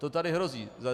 To tady hrozí.